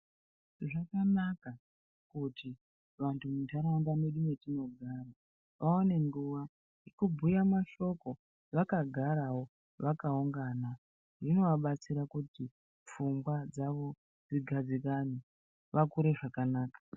Zvakanaka kuti vantu mundaraunda medu metinogara vaone nguwa yekubhuya mashoko vakagarawo vakaungana zvinovabatsira kuti pfungwa dzavo dzigadzikane vakure zvakanaka.